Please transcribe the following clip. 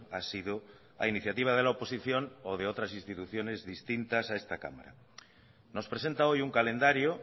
ha sido a iniciativa de la oposición o de otras instituciones distintas a esta cámara nos presenta hoy un calendario